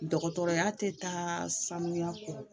Dɔgɔtɔrɔya tɛ taa sanuya kɔ